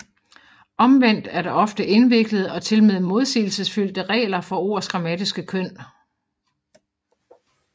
Omvendt er der ofte indviklede og tilmed modsigelsesfyldte regler for ords grammatiske køn